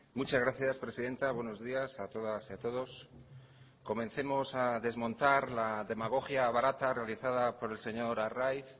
muchas gracias presidenta buenos días a todas y a todos comencemos a desmontar la demagogia barata realizada por el señor arraiz